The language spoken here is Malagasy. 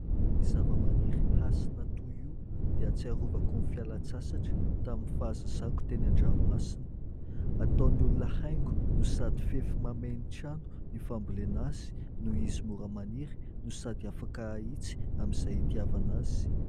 Ny zava-maniry "Hasina" toy io dia ahatsiarovako ny fialan-tsasatra tamin'ny fahazazako teny an-dranomasina. Ataon'ny olona haingo no sady fefy mamehy ny trano ny fambolena azy ; noho izy mora maniry no sady afaka ahitsy amin'izay hitiavana azy.